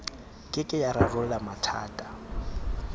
ke ke ya rarolla mathata